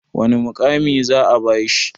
wane mukami za a bashi?